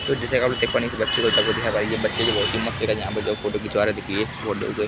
तो जैसा की आप लोग देख पा इस बच्चे ये बच्चे जो हैं बहोत ही मस्त यहाँ पर जो है फोटो खिंचवा रहे हैं देखिये इस फोटो --